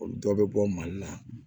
Olu dɔ bɛ bɔ mali la